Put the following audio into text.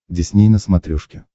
дисней на смотрешке